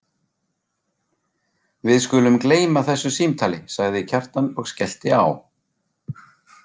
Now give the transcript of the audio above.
Við skulum gleyma þessu símtali, sagði Kjartan og skellti á.